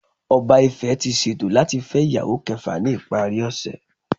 Oba Ife ti ṣeto lati fẹ iyawo kẹfa ni ipari ose.